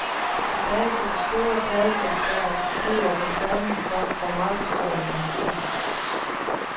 Tilbage for de store pladeselskaber bliver reklamen for og markedsføringen af musikken.